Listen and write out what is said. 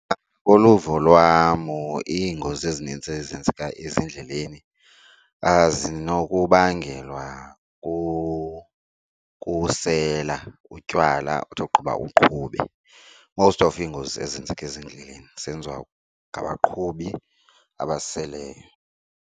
Uluvo lwam, iingozi ezininzi ezenzeka ezindleleni zinokubangela kukusela utywala uthi okuqiba uqhube. Most of iingozi ezenzeka ezindleleni zenziwa ngabaqhubi abaseleyo.